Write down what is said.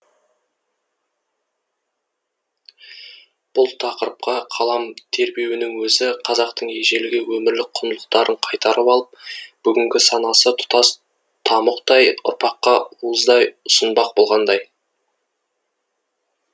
бұл тақырыпқа қалам тербеуінің өзі қазақтың ежелгі өмірлік құндылықтарын қайтарып алып бүгінгі санасы тұтас тамұқтай ұрпаққа уыздай ұсынбақ болғандай